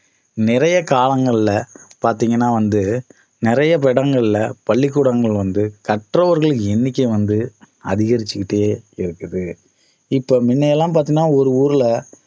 நிறைய காலங்கள்ல பார்த்தீங்கன்னா வந்து நிறைய இடங்கள்ல பள்ளி கூடங்கள் வந்து கற்றவர்களின் எண்ணிக்கை வந்து அதிகரிச்சிட்டே இருக்குது இப்ப முன்ன எல்லாம் பார்த்தீங்கனா ஒரு ஊர்ல